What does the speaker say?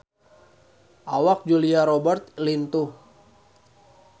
Awak Julia Robert lintuh